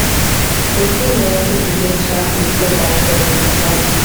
osimehn also begin chant di club anthem wit di fans